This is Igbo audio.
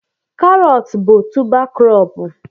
carrots bụ tubá krobú